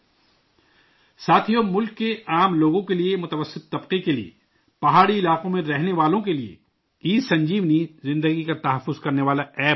ساتھیو، ملک کے عام انسانوں کے لیے، متوسط طبقہ کے لیے، پہاڑی علاقوں میں رہنے والوں کے لیے، ای سنجیونی، زندگی کو بچانے والا ایپ بن رہا ہے